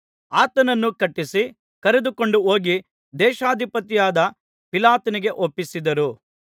ಆತನನ್ನು ಕಟ್ಟಿಸಿ ಕರೆದುಕೊಂಡು ಹೋಗಿ ದೇಶಾಧಿಪತಿಯಾದ ಪಿಲಾತನಿಗೆ ಒಪ್ಪಿಸಿದರು